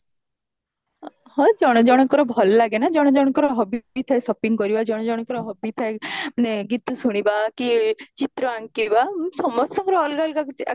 ହଁ ଜଣ ଜଣଙ୍କର ଭଲ ଲାଗେ ନା ଜଣ ଜଣଙ୍କର hobby ବି ଥାଏ shopping କରିବା ଜଣ ଜଣଙ୍କର hobby ଥାଏ ମାନେ ଗୀତା ଶୁଣିବା କି ଚିତ୍ର ଆଙ୍କିବା ସମସ୍ତଙ୍କର ଅଲଗା ଅଲଗା କିଛି